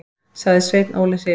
sagði Sveinn Óli hrifinn.